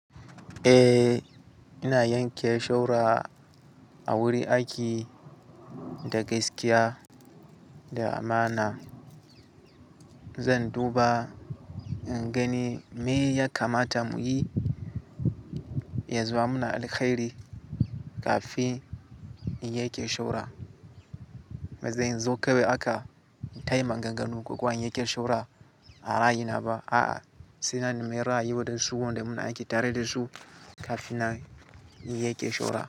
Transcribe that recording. Eh, ina yanke shawara a wurin aiki da gaskiya da amana. Zan duba in gani me ya kamata mu yi ya zama muna alkairi kafin in yanke shura. Bazan zo kawai haka in tayin maganganu ko kowa in yanke shawara a raina ba. A'a, sai na nemi ra'ayi waɗansu wanda muna aiki tare da su kafin na yanke shawara.